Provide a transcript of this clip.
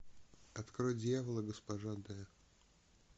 открой дьявол и госпожа д